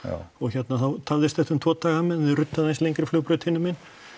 og hérna þá tafðist þetta um tvo daga á meðan þeir ruddu aðeins lengri flugbraut hinum megin